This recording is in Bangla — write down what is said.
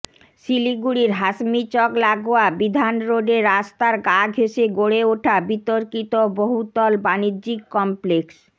শিলিগুড়ির হাসমিচক লাগোয়া বিধানরোডে রাস্তার গা ঘেঁষে গড়ে ওঠা বিতর্কিত বহুতল বাণিজ্যিক কমপ্লেক্স